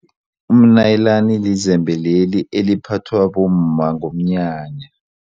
Umnayilani lizembe leli eliphathwa bomma ngomnyanya.